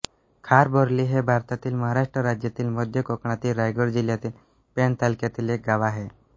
खार बोर्ली हे भारतातील महाराष्ट्र राज्यातील मध्य कोकणातील रायगड जिल्ह्यातील पेण तालुक्यातील एक गाव आहे